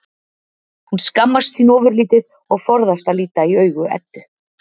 Hún skammast sín ofurlítið og forðast að líta í augu Eddu.